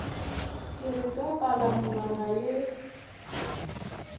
ke re ka palamonwana ye